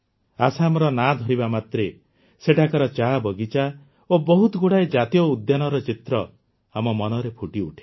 ଆସାମର ନାଁ ଧରିବା ମାତ୍ରେ ସେଠାକାର ଚାବଗିଚା ଓ ବହୁତଗୁଡ଼ାଏ ଜାତୀୟ ଉଦ୍ୟାନର ଚିତ୍ର ଆମ ମନରେ ଫୁଟିଉଠେ